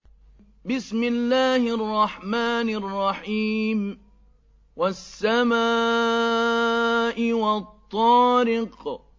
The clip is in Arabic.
وَالسَّمَاءِ وَالطَّارِقِ